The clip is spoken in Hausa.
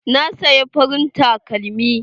Na saya farin takalmi.